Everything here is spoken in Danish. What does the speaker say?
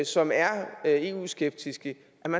som er eu skeptiske